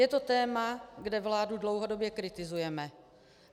Je to téma, kde vládu dlouhodobě kritizujeme.